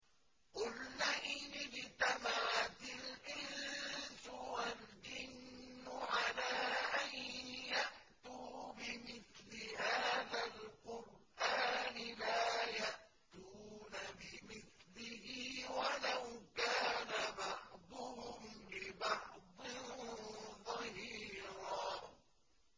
قُل لَّئِنِ اجْتَمَعَتِ الْإِنسُ وَالْجِنُّ عَلَىٰ أَن يَأْتُوا بِمِثْلِ هَٰذَا الْقُرْآنِ لَا يَأْتُونَ بِمِثْلِهِ وَلَوْ كَانَ بَعْضُهُمْ لِبَعْضٍ ظَهِيرًا